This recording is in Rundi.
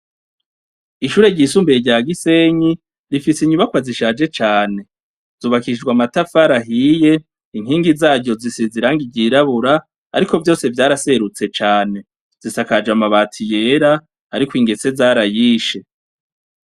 Ishure ryisumbuye rya Gisenyi rifise inyubakwa zishaje cane. Zubakishijwe amatafari ahiye, inkingi zaryo zisize irangi ryirabura, ariko vyose vyaraserutse cane. Zisakaje amabati yera, ariko ingese zarayishe.